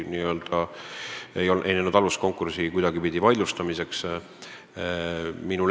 Kohus ei näinud mingit alust, et konkurssi kuidagipidi vaidlustada.